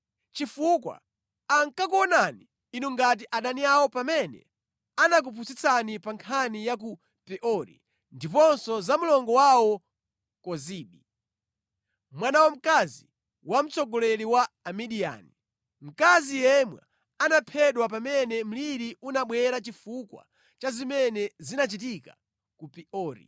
chifukwa ankakuonani inu ngati adani awo pamene anakupusitsani pa nkhani ya ku Peori, ndiponso za mlongo wawo Kozibi, mwana wamkazi wa mtsogoleri wa Amidiyani, mkazi yemwe anaphedwa pamene mliri unabwera chifukwa cha zimene zinachitika ku Peori.”